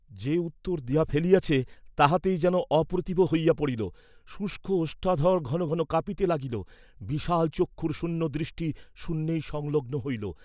যে উত্তর দিয়া ফেলিয়াছে, তাহাতেই যেন অপ্রতিভ হইয়া পড়িল, শুষ্ক ওষ্ঠাধর ঘন ঘন কাঁপিতে লাগিল, বিশাল চক্ষুর শূন্যদৃষ্টি শূন্যেই সংলগ্ন হইল।